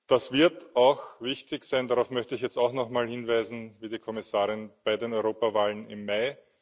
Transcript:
Das wird auch wichtig sein darauf möchte ich jetzt auch nochmal hinweisen, liebe Kommissarin bei den Europawahlen im Mai.